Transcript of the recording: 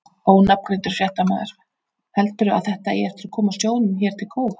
Ónafngreindur fréttamaður: Heldurðu að þetta eigi eftir að koma sjóðnum hér til góða?